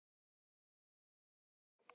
Mér var alveg sama um það.